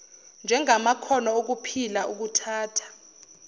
njengamakhono okuphila ukuthahta